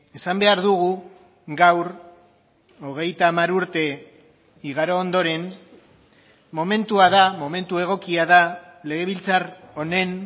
esan behar dugu gaur hogeita hamar urte igaro ondoren momentua da momentu egokia da legebiltzar honen